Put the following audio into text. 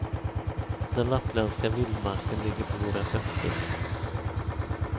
Den lappländska vildmarken ligger för våra fötter.